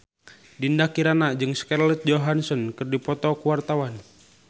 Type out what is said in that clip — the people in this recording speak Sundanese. Dinda Kirana jeung Scarlett Johansson keur dipoto ku wartawan